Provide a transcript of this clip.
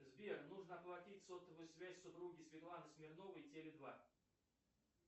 сбер нужно оплатить сотовую связь супруге светлане смирновой теле два